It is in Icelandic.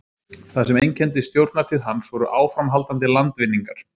það sem einkenndi stjórnartíð hans voru áframhaldandi landvinningar